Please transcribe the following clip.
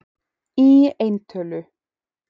Í et.